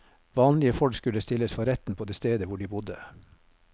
Vanlige folk skulle stilles for retten på det stedet hvor de bodde.